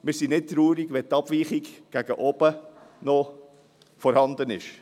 Wir sind nicht traurig, wenn die Abweichung gegen oben noch vorhanden ist.